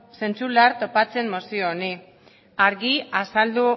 zentzu lar topatzen mozio honi argi azaldu